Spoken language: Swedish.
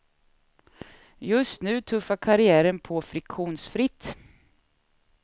Just nu tuffar karriären på friktionsfritt.